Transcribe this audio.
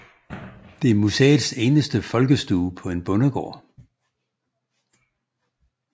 Det er museets eneste folkestue på en bondegård